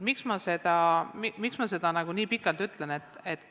Miks ma sellest nii pikalt räägin?